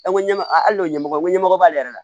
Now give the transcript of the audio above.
An ko ɲɛ ma hali n'o ɲɛmɔgɔ ɲɛmɔgɔ b'ale yɛrɛ la